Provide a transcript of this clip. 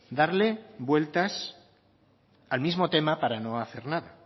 darle vueltas al mismo tema para no hacer nada